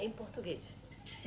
Em português?